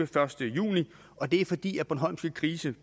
første juni og det er fordi bornholmske grise